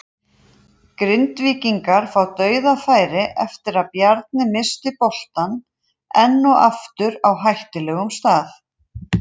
Grindvíkingar fá DAUÐAFÆRI eftir að Bjarni missti boltann enn og aftur á hættulegum stað!